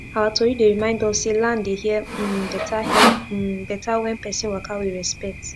our tori dey remind us say land dey hear um better hear um better when person waka with respect